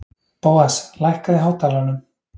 Bóas, lækkaðu í hátalaranum.